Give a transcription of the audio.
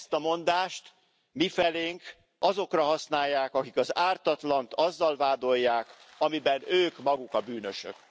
Ezt a mondást mifelénk azokra használják, akik az ártatlant azzal vádolják, amiben ők maguk a bűnösök.